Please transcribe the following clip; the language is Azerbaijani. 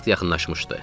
Vaxt yaxınlaşmışdı.